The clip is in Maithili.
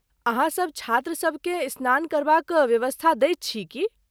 अहाँसब छात्रसबकेँ स्नान करबाक व्यवस्था दैत छी की ?